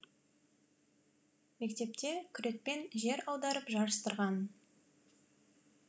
мектепте күрекпен жер аударып жарыстырған